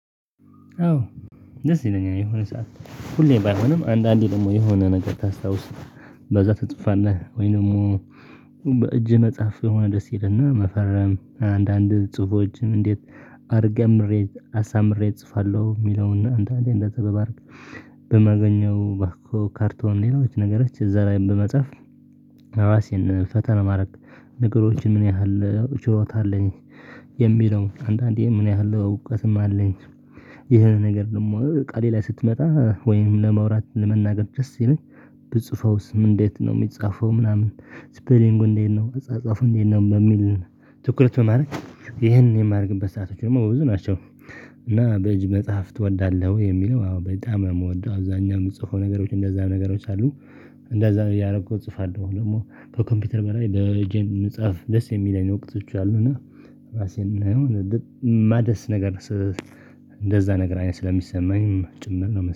አዎ ደስ ይለኛል የሆነ ሰዓት ሁሌ ባይሆንም አንዳንዴ ደግሞ የሆነ ነገር ታስታውስ በዛ ትጽፋለህ ወይ ደግሞ? በእጅ መጻፍ የሆነ ደስ ይልህና መፈረም አንዳንድ ጽሁፎች እንዴት አድርጌ አሳምሬ እጽፋለሁ ሚለውን አንዳንዴ እንደ እንደዚህ በማገኘው ባኮ ካርቶን ሌሎች ነገሮች እዛ ላይ በመጻፍ እራሴን ፈተና ማድረግ ነገሮችን ምን ያህል ችሎታ አለኝ? የሚለው አንዳንዴ ምን ያህል እውቀትም አለኝ። የሆነ ነገር ደግሞ ቃሌ ላይ ስትመጣ ወይም ለመውራት ለመናገር ደስ ሲለኝ። ብጽፈውስ ምን እንዴት ነው ሚጻፈው ምናምን ስፔሊንጉ እንዴት ነው አጻጻፉ እንዴት ነው? በሚል ትኩረት በማድረግ ይሄን የማደግበት ሰአቶች ደግሞ በብዙ ናቸው። እና በእጅ መጽሐፍ ትወዳለህ ወይ? የሚለው አዎ በጣም የምወደው አብዛኛው የምትጽፈው እንደዛ ነገሮች አሉ። እንደዛ ነው ያደረገው እጽፋለሁ ደግሞ ከኮምፒውተር በላይ በእጄ መጻፍ ደስ የሚለኝ ወቅቶች አሉና። ራሴን ማደስ ነገር እንደዛ ነገር አይነት ስለሚሰማኝ ጭምር ነው